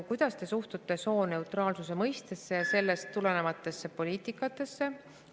Kuidas ta suhtub sooneutraalsuse mõistesse ja sellest tulenevatesse poliitikatesse?